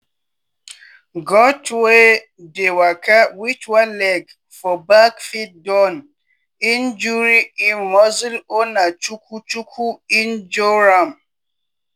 goat wey dey waka wit one leg for back fit don injure im muscle or na chuku chuku injure am.